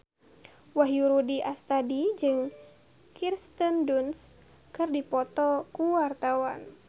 Wahyu Rudi Astadi jeung Kirsten Dunst keur dipoto ku wartawan